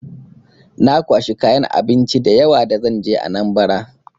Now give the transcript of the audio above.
Na kwashi kayan abinci da yawa da zan je Anambra.